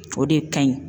O de ka ɲi